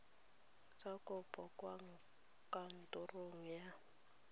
tsa kopo kwa kantorong ya